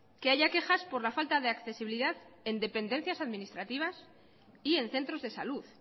que haya quejas por la falta de accesibilidad en dependencias administrativas y en centros de salud